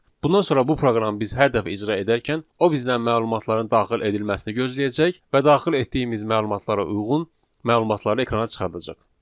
Bundan sonra bu proqramı biz hər dəfə icra edərkən, o bizdən məlumatların daxil edilməsini gözləyəcək və daxil etdiyimiz məlumatlara uyğun məlumatları ekrana çıxardacaq.